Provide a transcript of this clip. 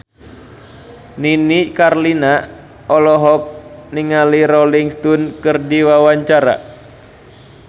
Nini Carlina olohok ningali Rolling Stone keur diwawancara